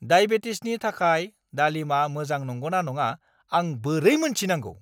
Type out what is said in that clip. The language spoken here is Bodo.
डायबेटिसनि थाखाय दालिमआ मोजां नंगौना नङा आं बोरै मोनथिनांगौ?